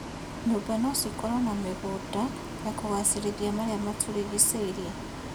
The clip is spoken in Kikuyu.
Nyũmba no cikorwo na mĩgũnda ya kũgacĩrithia marĩa matũrigicĩirie.